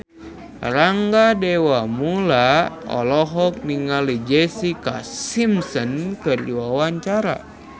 Rangga Dewamoela olohok ningali Jessica Simpson keur diwawancara